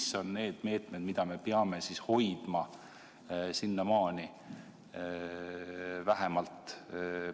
Ja mis on need meetmed, mida me peame hoidma sinnamaani vähemalt?